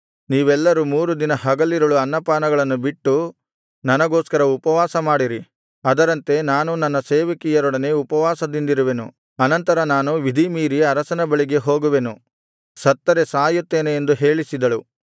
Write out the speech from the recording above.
ನೀವೆಲ್ಲರೂ ಮೂರು ದಿನ ಹಗಲಿರುಳು ಅನ್ನಪಾನಗಳನ್ನು ಬಿಟ್ಟು ನನಗೋಸ್ಕರ ಉಪವಾಸ ಮಾಡಿರಿ ಅದರಂತೆ ನಾನೂ ನನ್ನ ಸೇವಕಿಯರೊಡನೆ ಉಪವಾಸದಿಂದಿರುವೆನು ಅನಂತರ ನಾನು ವಿಧಿಮೀರಿ ಅರಸನ ಬಳಿಗೆ ಹೋಗುವೆನು ಸತ್ತರೆ ಸಾಯುತ್ತೇನೆ ಎಂದು ಹೇಳಿಸಿದಳು